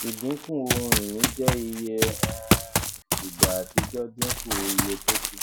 ìdínkù ohun ìní jẹ iye um ìgbà àtijọ dínkù iye tókù